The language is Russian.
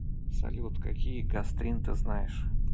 салют какие гастрин ты знаешь